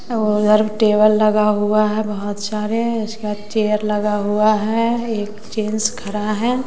और उधर टेबल लगा हुआ है बहोत सारे उसके बाद चेयर लगा हुआ है एक जेंट्स खड़ा है।